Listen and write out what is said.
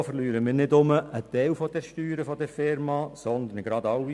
So verlieren wir nicht nur einen Teil der Steuern dieser Firma, sondern gleich alle.